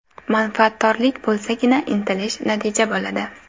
Manfaatdorlik bo‘lsagina, intilish, natija bo‘ladi.